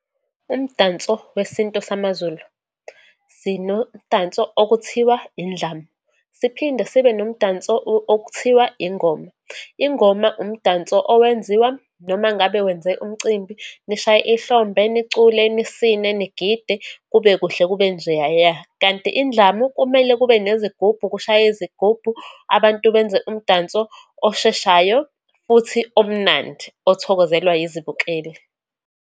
Umdanso wesintu samaZulu. Sinomdanso okuthiwa indlamu, siphinde sibe nomdanso okuthiwa ingoma. Ingoma umdanso owenziwa, noma ngabe wenze umcimbi, nishaye ihlombe, nicule, nisine, nigide, kube kuhle kube njeyaya. Kanti indlamu, kumele kube nezigubhu, kushaywe izigubhu, abantu benze umdanso osheshayo, futhi omnandi othokozelwa izibukeli.